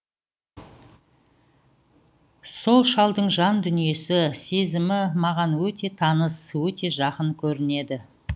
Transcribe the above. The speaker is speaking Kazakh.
сол шалдың жан дүниесі сезімі маған өте таныс өте жақын көрінеді